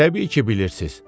Təbii ki, bilirsiz.